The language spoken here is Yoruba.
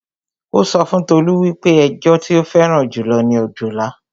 Ó sọ fún Tolú wípé ẹjọ tí ó fẹ́ràn jù lọ ni òjòlá